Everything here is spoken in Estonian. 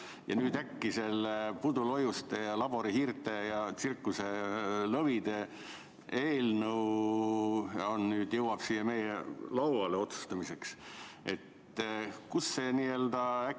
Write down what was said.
Ja nüüd äkki see pudulojuste ja laborihiirte ja tsirkuselõvide eelnõu jõuab otsustamiseks siia meie lauale.